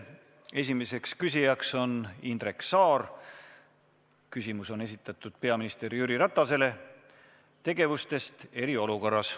Esimene küsija on Indrek Saar, küsimus on esitatud peaminister Jüri Ratasele: Teemaks on tegevused eriolukorras.